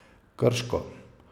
Krško.